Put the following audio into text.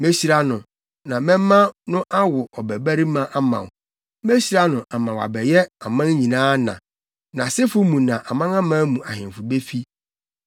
Mehyira no, na mɛma no awo ɔbabarima ama wo. Mehyira no ama wabɛyɛ aman nyinaa na. Nʼasefo mu na amanaman mu ahemfo befi.”